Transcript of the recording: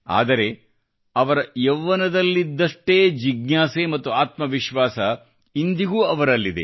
ಆದರೆ ಅವರ ಯೌವ್ವನದಲ್ಲಿದ್ದಷ್ಟೇ ಜಿಜ್ಞಾಸೆ ಮತ್ತು ಆತ್ಮವಿಶ್ವಾಸ ಇಂದಿಗೂ ಅವರಲ್ಲಿದೆ